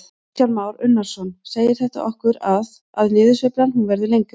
Kristján Már Unnarsson: Segir þetta okkur að, að niðursveiflan hún verður lengri?